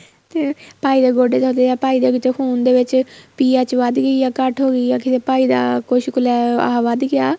ਤੇ ਭਾਈ ਦੇ ਗੋਡੇ ਦੇਖਦੇ ਆ ਭਾਈ ਦੇ ਖੂਨ ਦੇ ਵਿੱਚ PH ਵੱਧ ਗਈ ਆ ਘੱਟ ਹੋ ਗਈ ਆ ਕਿੱਥੇ ਭਾਈ ਦਾ ਕੁੱਛ ਕ਼ ਆਹ ਵੱਧ ਗਿਆ